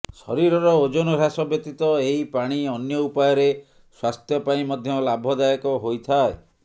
ଶରୀରର ଓଜନ ହ୍ରାସ ବ୍ୟତୀତ ଏହି ପାଣି ଅନ୍ୟ ଉପାୟରେ ସ୍ୱାସ୍ଥ୍ୟ ପାଇଁ ମଧ୍ୟ ଲାଭଦାୟକ ହୋଇଥାଏ